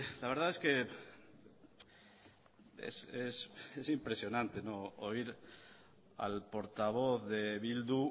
la verdad es que es impresionante oír al portavoz de bildu